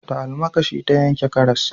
Da almakashi ta yanke karas